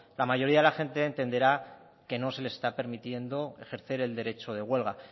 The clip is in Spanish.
la mayoría de la gente entenderá que no se les está permitiendo ejercer el derecho de huelga